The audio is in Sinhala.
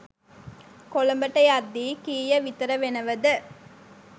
කොළඹට යද්දි කීය විතර වෙනවද